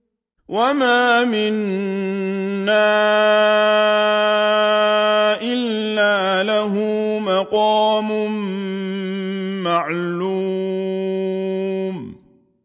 وَمَا مِنَّا إِلَّا لَهُ مَقَامٌ مَّعْلُومٌ